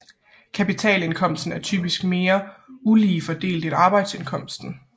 Kapitalindkomsten er typisk altid mere ulige fordelt end arbejdsindkomsten